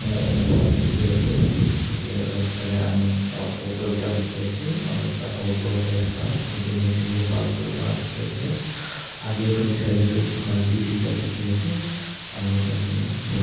Aro rasta dekhe ase ethe rasta dae ami ekta auto ekta dekhe ase aro ekta alto jai thaka ek jun ek jun kae par kuri thaka dekhe ase agae phale saile tuh dukhan bhi duida dekhe ase aro tatey bole --